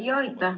Aitäh!